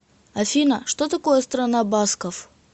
афина что такое страна басков